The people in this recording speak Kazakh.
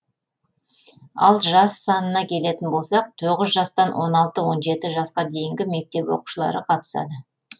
ал жас санына келетін болсақ тоғыз жастан он алты он жеті жасқа дейінгі мектеп оқушылары қатысады